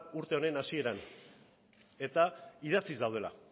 urte honen hasieran eta idatziz daudela